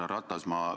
Härra Ratas!